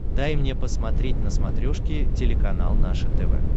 дай мне посмотреть на смотрешке телеканал наше тв